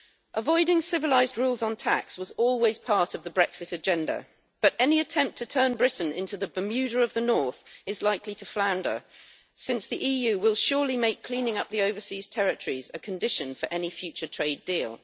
Avoiding civilized rules on tax was always part of the Brexit agenda but any attempt to turn Britain into the Bermuda of the North is likely to flounder since the EU will surely make cleaning up the overseas territories a condition for any future trade deal.